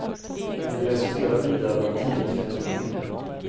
Vi resonerar vidare om tidens fenomen.